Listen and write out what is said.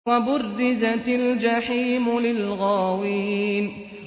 وَبُرِّزَتِ الْجَحِيمُ لِلْغَاوِينَ